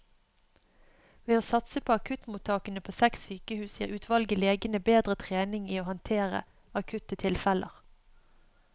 Ved å satse på akuttmottakene på seks sykehus gir utvalget legene bedre trening i å håndtere akutte tilfeller.